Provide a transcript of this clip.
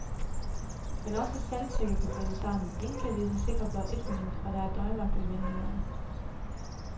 Men også sandsække kan bryde sammen, ingen kan vide sig sikre blot et minut, og der er døgnvagt ved vinduerne.